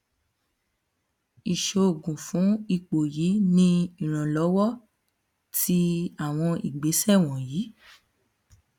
iṣoogun fun ipo yii ni iranlọwọ ti awọn igbesẹ wọnyi